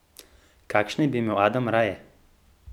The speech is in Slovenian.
Kakšne bi imel Adam raje?